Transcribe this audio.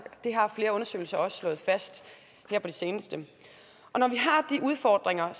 det har flere undersøgelser også slået fast her på det seneste og når vi har de udfordringer